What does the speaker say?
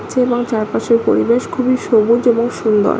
ছে ও এবং চারপাশের পরিবেশ খুবই সবুজ এবং সুন্দর।